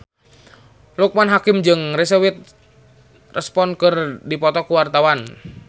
Loekman Hakim jeung Reese Witherspoon keur dipoto ku wartawan